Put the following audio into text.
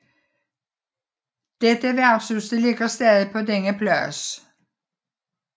Dette værtshus ligger stadig på denne plads